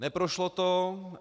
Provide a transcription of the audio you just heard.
Neprošlo to.